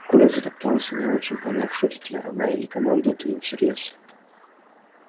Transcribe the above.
коля затоптался не очень поняв шутит ли она или командует им всерьёз